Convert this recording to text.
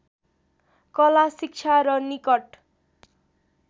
कला शिक्षा र निकट